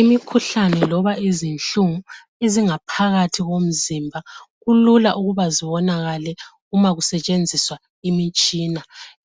Imikhuhlane loba izinhlungu ezingaphakathi komzimba kulula ukuba zibonakale uma kusetshenziswa imitshina.